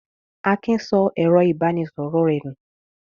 Akin sọ ẹ̀rọ-ìbánisọ̀rọ̀ rẹ̀ nù?